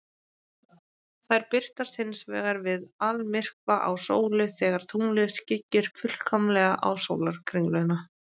Þær birtast hins vegar við almyrkva á sólu, þegar tunglið skyggir fullkomlega á sólarkringluna.